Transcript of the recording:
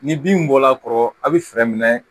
Ni bin bɔla a kɔrɔ a bɛ fɛɛrɛ minɛ